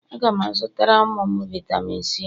Aga m azụtara ụmụ m vitami C